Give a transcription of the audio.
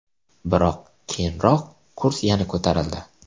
Biroq keyinroq kurs yana ko‘tarildi.